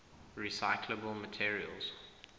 recyclable materials